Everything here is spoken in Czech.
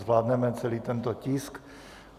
Zvládneme celý tento tisk.